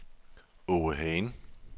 Åge Hagen